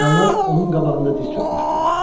Əyanlar onun qabağında diz çökmüşdülər.